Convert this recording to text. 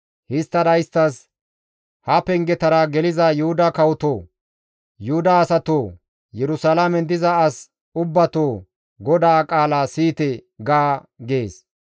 Histtada isttas, ‹Ha pengetara geliza Yuhuda kawoto! Yuhuda asatoo! Yerusalaamen diza as ubbatoo GODAA qaala siyite!› ga» gees.